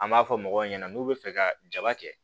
An b'a fɔ mɔgɔw ɲɛna n'u bɛ fɛ ka jaba kɛ